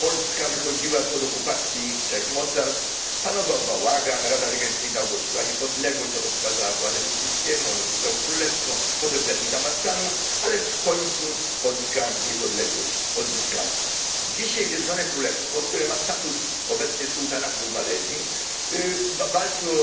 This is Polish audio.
Polska wychodziła spod okupacji trzech mocarstw, panował bałagan, Rada Regencyjna ogłosiła niepodległość, potem przekazała władzę Piłsudskiemu, on rozwiązał królestwo, potem był jakiś zamach stanu, ale w końcu Polska niepodległość odzyskała. Dzisiaj Zjednoczone Królestwo, które ma status obecnie sułtanatu w Malezji, walczy o